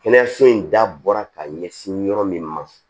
Kɛnɛyaso in dabɔra ka ɲɛsin yɔrɔ min ma